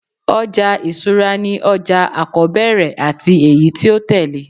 ọja isura ni oja akọbẹrẹ ati eyi ti o tẹle